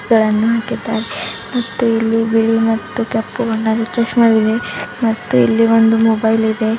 ಗಳನ್ನು ಹಾಕಿದ್ದಾರೆ ಮತ್ತು ಇಲ್ಲಿ ಬಿಳಿ ಮತ್ತು ಕಪ್ಪು ಬಣ್ಣದ ಚಸ್ಮಾವಿದೆ ಮತ್ತು ಇಲ್ಲಿ ಒಂದು ಮೊಬೈಲ್ ಇದೆ.